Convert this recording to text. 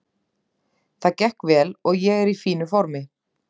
Það gekk vel og ég er í fínu formi.